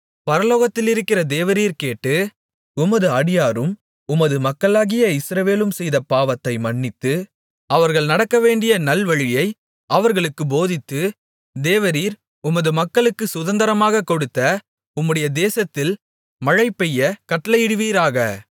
பரலோகத்திலிருக்கிற தேவரீர் கேட்டு உமது அடியாரும் உமது மக்களாகிய இஸ்ரவேலும் செய்த பாவத்தை மன்னித்து அவர்கள் நடக்கவேண்டிய நல்வழியை அவர்களுக்குப் போதித்து தேவரீர் உமது மக்களுக்குச் சுதந்தரமாகக் கொடுத்த உம்முடைய தேசத்தில் மழைபெய்யக் கட்டளையிடுவீராக